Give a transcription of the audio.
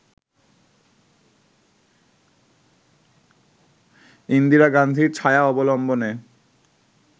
ইন্দিরা গান্ধীর ছায়া অবলম্বনে